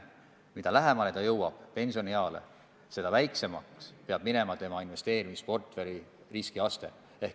Mida lähemale inimene pensionieale jõuab, seda madalamaks peab minema tema investeerimisportfelli riskiaste.